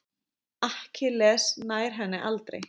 Akkilles nær henni aldrei.